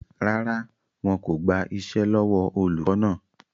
Rárá, wọn kò gbà iṣẹ́ lọ́wọ́ olùkọ́ náà